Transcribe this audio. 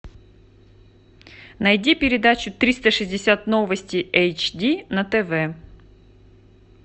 найди передачу триста шестьдесят новости эйч ди на тв